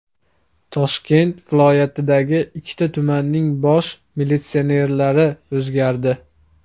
Toshkent viloyatidagi ikki tumanning bosh militsionerlari o‘zgardi.